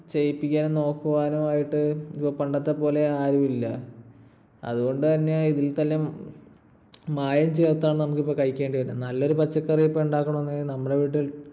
ചെയ്യിപ്പിക്കുവാനും നോക്കുവാനോ ആയിട്ട് പണ്ടത്തെപോലെ ആരുമില്ല. അതുകൊണ്ടുതന്നെ മായം ചേർത്താണ് നമ്മൾ ഇപ്പോൾ കഴിക്കേണ്ടിവരുന്നത്. നല്ലൊരു പച്ചക്കറി ഇപ്പൊ ഉണ്ടാക്കണമെന്നുണ്ടെങ്കിൽ നമ്മടെ വീട്ടിൽ